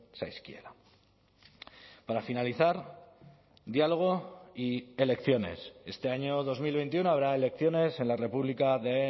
zaizkiela para finalizar diálogo y elecciones este año dos mil veintiuno habrá elecciones en la república de